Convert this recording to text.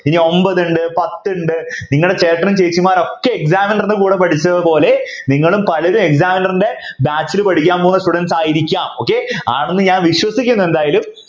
ഇനി ഒമ്പതുണ്ട് പത്തുണ്ട് നിങ്ങളും ചേട്ടനും ചേച്ചിമാരും ഒക്കെ Examiner ൻ്റെ കൂടെ പഠിച്ചതുപോലെ നിങ്ങളും പലരും Examiner ൻ്റെ Batch ൽ പഠിക്കാൻ പോകുന്ന Students ആയിരിക്കാം okay ആണെന്ന് ഞാൻ വിശ്വസിക്കുന്നത് എന്തായാലും